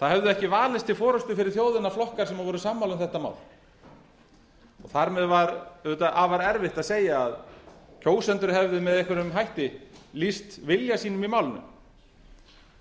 það hefði ekki valist til forustu fyrir þjóðina flokkar sem voru sammála um þetta mál og þar með var auðvitað afar erfitt að segja að kjósendur hefðu með einhverjum hætti lýst vilja sínum í málinu